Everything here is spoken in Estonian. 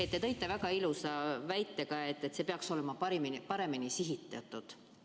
Te ütlesite väga ilusasti, et see peaks olema paremini sihitatud.